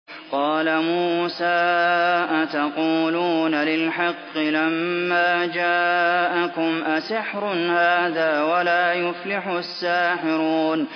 قَالَ مُوسَىٰ أَتَقُولُونَ لِلْحَقِّ لَمَّا جَاءَكُمْ ۖ أَسِحْرٌ هَٰذَا وَلَا يُفْلِحُ السَّاحِرُونَ